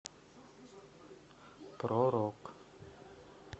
про рок